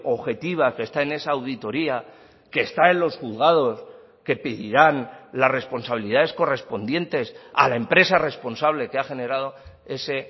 objetiva que está en esa auditoría que está en los juzgados que pedirán las responsabilidades correspondientes a la empresa responsable que ha generado ese